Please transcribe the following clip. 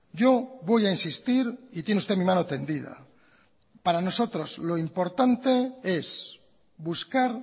yo voy a insistir y tiene usted mi mano tendida para nosotros lo importante es buscar